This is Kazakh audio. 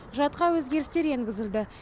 құжатқа өзгерістер енгізілді